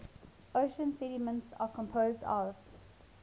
ocean sediments are composed of